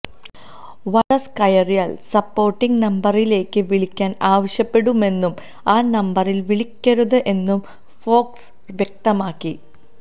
virus കയറിയാല് supporting നമ്ബറിലേക്ക് വിളിക്കാന് ആവശ്യപ്പെടുമെന്നും ആ നമ്ബറില് വിളിക്കരുത് എന്നും ഫോക്സ് വ്യക്തമാക്കി